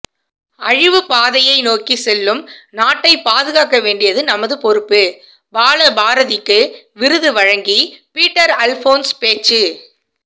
அழிவுப்பாதையை நோக்கி செல்லும் நாட்டை பாதுகாக்கவேண்டியது நமது பொறுப்பு பாலபாரதிற்கு விருது வழங்கி பீட்டர் அல்போன்ஸ் பேச்சு